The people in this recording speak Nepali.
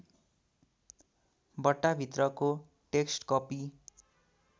बट्टाभित्रको टेक्स्ट कपी